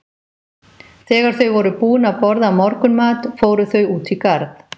Þegar þau voru búin að borða morgunmat fóru þau út í garð.